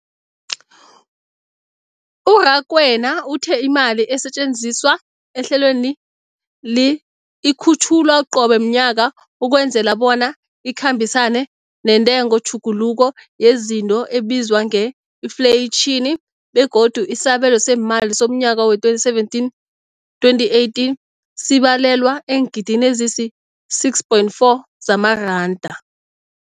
U-Rakwena uthe imali esetjenziswa ehlelweneli ikhutjhulwa qobe ngomnyaka ukwenzela bona ikhambisane nentengotjhuguluko yezinto ebizwa nge-infleyitjhini, begodu isabelo seemali somnyaka we-2017, 2018 sibalelwa eengidini ezisi-6.4 zamaranda.